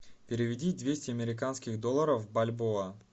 переведи двести американских долларов в бальбоа